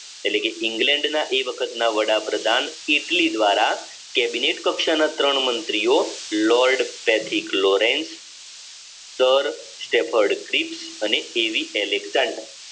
એટલે કે ઇંગ્લેન્ડના એ વખતના વડાપ્રધાન એટલી દ્વારા કેબિનેટ કક્ષાના ત્રણ મંત્રીઓ લોર્ડ પેથિક લોરેન્સ દર સ્ટેફર્ડ ક્લિપ્સ અને એવી એલેક્ટ્રાન્ડ